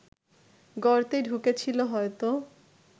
গর্তে ঢুকেছিল হয়তো